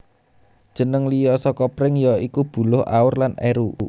Jeneng liya saka pring ya iku buluh aur lan eru